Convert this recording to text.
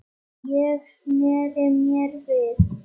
Ég sneri mér við.